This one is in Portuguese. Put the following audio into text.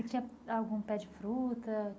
E tinha algum pé de fruta?